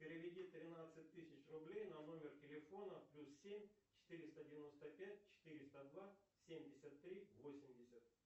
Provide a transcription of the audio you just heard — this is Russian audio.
переведи тринадцать тысяч рублей на номер телефона плюс семь четыреста девяносто пять четыреста два семьдесят три восемьдесят